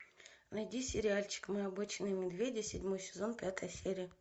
найди сериальчик мы обычные медведи седьмой сезон пятая серия